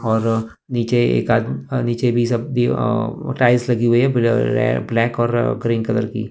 और नीचे एक आदमी नीचे भी सब्जी अ टाइल्स लगी हुई हैं ब्लैक और ग्रीन कलर की--